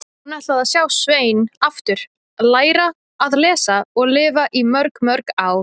Hún ætlaði að sjá Svein aftur, læra að lesa og lifa í mörg, mörg ár.